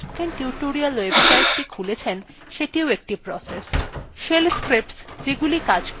shell scripts যেগুলি কাজ করছে সেগুলিও processes